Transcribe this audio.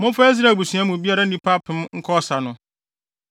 Momfa Israel abusua biara mu nnipa apem nkɔ ɔsa no.”